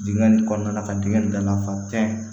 Digɛn nin kɔnɔna la ka dingɛ in dalafa tɛn